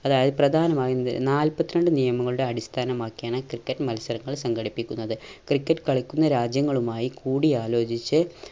അതായത് പ്രധാനമായി ഏർ നാല്പത്രണ്ട് നിയമങ്ങളുടെ അടിസ്ഥാനമാക്കിയാണ് ക്രിക്കറ്റ് മത്സരങ്ങൾ സംഘടിപ്പിക്കുന്നത് ക്രിക്കറ്റ് കളിക്കുന്ന രാജ്യങ്ങളുമായി കൂടി ആലോചിച്ച്